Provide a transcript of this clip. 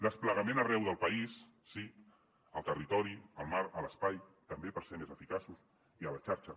desplegament arreu del país sí al territori al mar a l’espai també per ser més eficaços i a la xarxa